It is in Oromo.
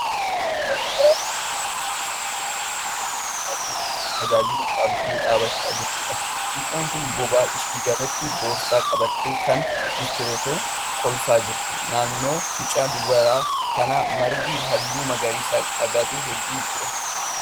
Mucaa durbaa sibiila bishaan boolla keessaa baasuuf tajaajilu qabdee dhaabbachaa jirtuudha. Mucaan kun bobaa ishee jalatti boorsaa qabattee kan jirtu yoo ta'u kolfaa jirti. Naannoo mucaa durbaa kanaa margi halluu magariisa qaban hedduutu jira.